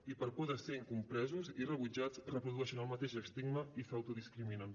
i per por de ser incompresos i rebutjats reprodueixen el mateix estigma i s’autodiscriminen